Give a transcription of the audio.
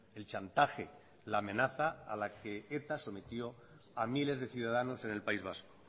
el chantaje la amenaza a la que eta sometió a miles de ciudadanos en el país vasco